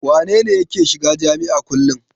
Wane ne yake shiga jami'a kullum?